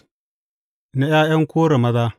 Na ’Ya’yan Kora maza.